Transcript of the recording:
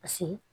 Paseke